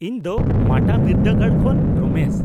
-ᱤᱧ ᱫᱚ ᱢᱟᱴᱟ ᱵᱤᱨᱫᱟᱹᱜᱟᱲ ᱠᱷᱚᱱ ᱨᱚᱢᱮᱥ ᱾